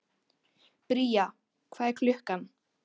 Bría, hvað er klukkan?